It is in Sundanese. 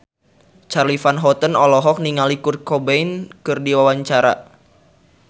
Charly Van Houten olohok ningali Kurt Cobain keur diwawancara